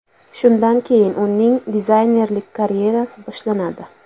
Shundan keyin uning dizaynerlik karyerasi boshlanadi.